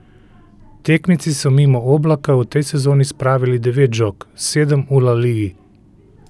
Tekmeci so mimo Oblaka v tej sezoni spravili devet žog, sedem v La Ligi.